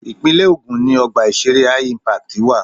Ìpínlẹ̀ Ògùn ni Ọgbà ìṣeré HI-Impact wà.